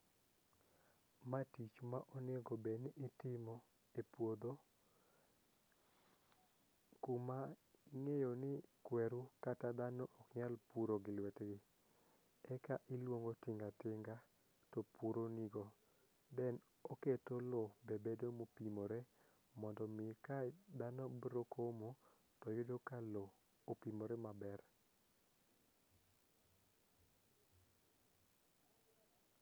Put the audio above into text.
ma tich ma onego bed ni itimo e puodho kuma ing'eyo ni kweru kata dhano ok nyal puro gi lwet gi, eka iluong'o tinga tinga to puro ni go then oketo lo e bedo moting'ore mondo mi ka dhano biro komo to yudo ka lo oting'ore maber